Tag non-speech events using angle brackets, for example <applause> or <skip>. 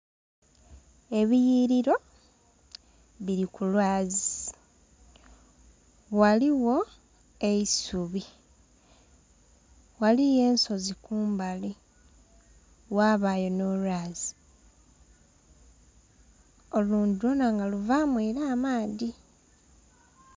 Ebiyiliro bili ku lwazi. Waliwo eisubi. Ghaliyo ensozi kumbali, ghabayo nh'olwazi. Olwo <skip> lwona nga luvamu era amaadhi.